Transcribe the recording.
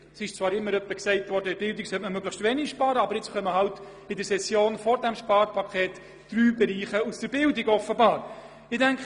Oft wurde zwar gesagt, in der Bildung solle man möglichst wenig sparen, aber nun werden bereits in der Session vor dem Sparpaket drei Bereiche aus der Bildung für Sparmassnahmen vorgeschlagen.